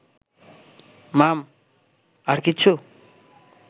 মাম... আর কিছু